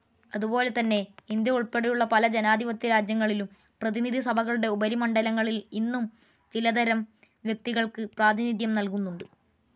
അതുപോലെതന്നെ ഇന്ത്യ ഉൾപ്പെടെയുള്ള പല ജനാധിപത്യരാജ്യങ്ങളിലും പ്രതിനിധിസഭകളുടെ ഉപരിമണ്ഡലങ്ങളിൽ ഇന്നും ചിലതരം വ്യക്തികൾക്ക് പ്രാതിനിധ്യം നല്കുന്നുണ്ട്.